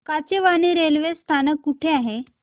Kachewani railway स्थानक कुठे आहे